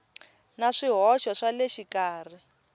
na swihoxo swa le xikarhi